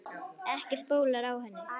Ekkert bólar á henni.